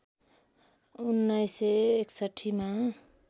१९६१ मा